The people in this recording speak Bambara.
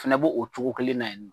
finɛ bo o cogo kelen na ye nɔ.